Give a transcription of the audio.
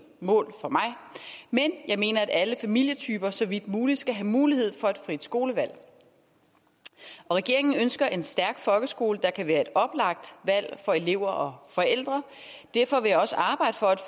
mål for mig men jeg mener at alle familietyper så vidt muligt skal have mulighed for et frit skolevalg regeringen ønsker en stærk folkeskole der kan være et oplagt valg for elever og forældre derfor vil jeg også arbejde for at